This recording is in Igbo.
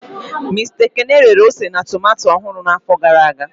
Mista Ekene rere ose na tomato ọhụrụ n'afọ gara aga.